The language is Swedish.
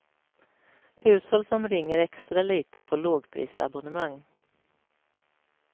Hushåll som ringer extra lite får lågprisabonnemang.